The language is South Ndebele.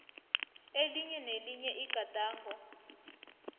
elinye nelinye igadango